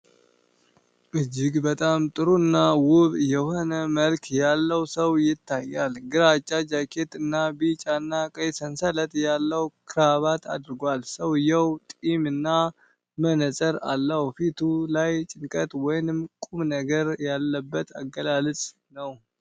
እጅግ በጣም ጥሩ እና ውብ የሆነ መልክ ያለው ሰው ይታያል። ግራጫ ጃኬት እና ቢጫና ቀይ ሰንሰለት ያለው ክራባት አድርጓል። ሰውዬው ጢም እና መነጽር አለው፣ ፊቱ ላይ ጭንቀት ወይም ቁም ነገር ያለበት አገላለጽ ነው።